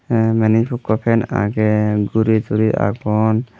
ai menuj ikko fan agey guri turi agon.